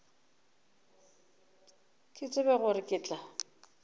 ke tsebe gore ke tla